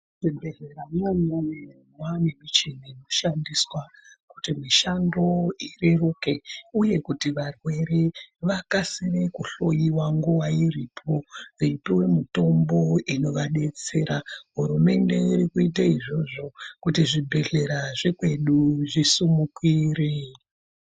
Muzvibhedhleramwo imwomwo mwane michini inoshandiswa kuti mishando ireruke uye kuti varwere vakasire kuhloyiwa nguwa iripo veipuwa mitombo inovadetsera hurumende iri kuita izvozvo kuti zvibhedhlera zvekwedu zvisimukire.